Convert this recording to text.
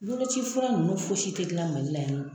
Boloci fura nunnu fosi ti gilan Mali la yani nɔ.